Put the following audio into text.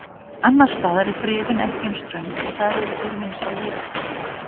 Annars staðar er friðun ekki eins ströng og þar eru þeir vinsæl veiðibráð.